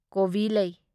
ꯀꯣꯕꯤꯂꯩ